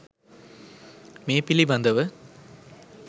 මේ පිළිබඳව